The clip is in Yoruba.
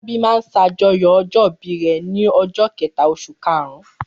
Fọlábí máa ń ṣàjọyọ̀ ọjọ́-ìbí rẹ̀ ní ọjọ́ kẹ̀ta oṣù karùn-ún.